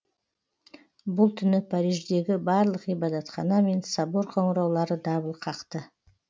бұл түні париждегі барлық ғибадатхана мен собор қоңыраулары дабыл қақты